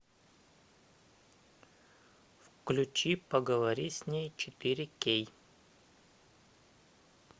включи поговори с ней четыре кей